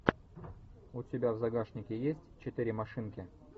у тебя в загашнике есть четыре машинки